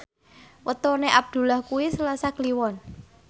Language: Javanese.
wetone Abdullah kuwi Selasa Kliwon